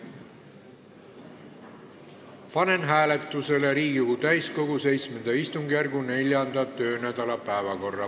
Panen hääletusele Riigikogu täiskogu VII istungjärgu 4. töönädala päevakorra.